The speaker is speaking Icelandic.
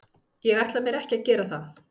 Ég ætla mér ekki að gera það.